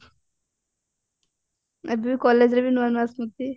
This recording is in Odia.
ଏବେ ବି collegeରେ ବି ନୂଆ ନୂଆ ସ୍ମୃତି